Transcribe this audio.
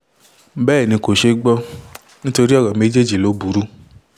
bẹ́ẹ̀ ni kò ṣeé gbọ́ nítorí ọ̀rọ̀ méjèèjì ló burú